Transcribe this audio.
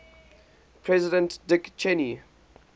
president dick cheney